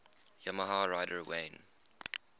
yamaha rider wayne